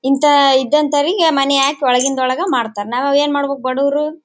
ಇಂಥ ಇದಂತವರಿಗೆ ಮನೆಯಾಕ್ ಒಳಗಿಂದ ಒಳಗೆ ಮಾಡ್ತಾರೆ ನಾವು ಅವಾಗ ಏನ್ ಮಾಡ್ಬೇಕು ಬಡವರು.